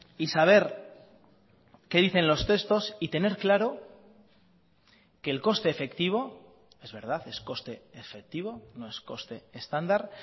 y saber qué dicen los textos y tener claro que el coste efectivo es verdad es coste efectivo no es coste estándar